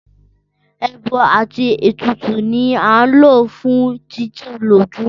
Ẹbọ àti ètùtù ni a ń lò fún títù lójú